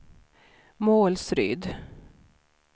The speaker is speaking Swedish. Målsryd